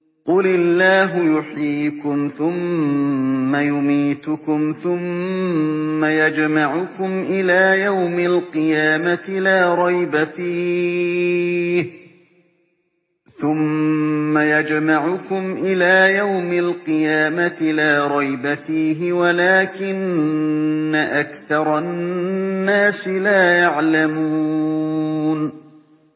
قُلِ اللَّهُ يُحْيِيكُمْ ثُمَّ يُمِيتُكُمْ ثُمَّ يَجْمَعُكُمْ إِلَىٰ يَوْمِ الْقِيَامَةِ لَا رَيْبَ فِيهِ وَلَٰكِنَّ أَكْثَرَ النَّاسِ لَا يَعْلَمُونَ